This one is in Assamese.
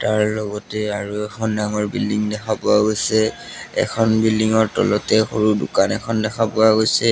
ইয়াৰ লগতে আৰু এখন ডাঙৰ বিল্ডিং দেখা পোৱা গৈছে এখন বিল্ডিং তলতে সৰু দোকান এখন দেখা পোৱা গৈছে।